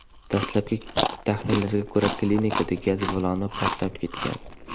Dastlabki taxminlarga ko‘ra, klinikada gaz baloni portlab ketgan.